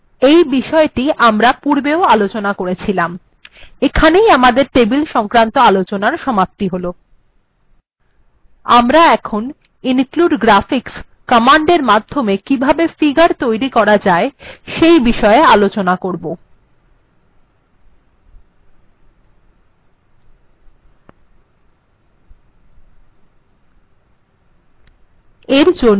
এটি বিষয়টি পূর্বেও আলোচনা করা হয়েছিল এখানেই আমাদের টেবিল সংক্রান্ত আলোচনার সমাপ্তি হল আমরা এখন include graphics কমান্ডএর মাধ্যমে কিভাবে ফিগার্ তৈরী করা যায় সেই বিষয়ে আলোচনা করব